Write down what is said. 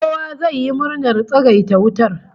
Kowa zai yi murnar tsagaita wutar